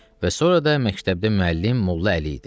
Və sonra da məktəbdə müəllim Molla Əli idi.